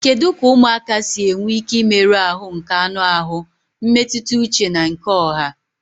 Kedu ka ụmụaka si enwe ike imerụ ahụ nke anụ ahụ, mmetụta uche na nke ọha?